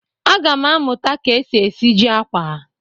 Aga m amụta ka e si esiji akwa.